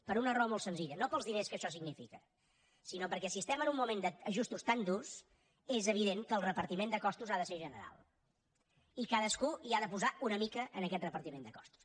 per una raó molt senzilla no pels diners que això significa sinó perquè si estem en un moment d’ajustos tan durs és evident que el repartiment de costos ha de ser general i cadascú hi ha de posar una mica en aquest repartiment de costos